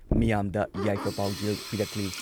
ꯃꯤꯌꯥꯝꯗ ꯌꯥꯏꯐ ꯄꯥꯎꯖꯦꯜ ꯄꯤꯔꯛꯂꯤ ꯫